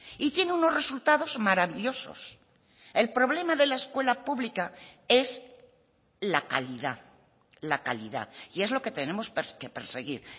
y tiene unos resultados maravillosos el problema de la escuela pública es la calidad la calidad y es lo que tenemos que perseguir